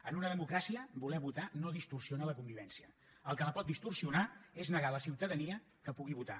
en una democràcia voler votar no distorsiona la convivència el que la pot distorsionar és negar a la ciutadania que pugui votar